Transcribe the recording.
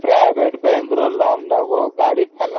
private bank ରୁ ଋଣ ନବ ଗାଡି finance କରିବ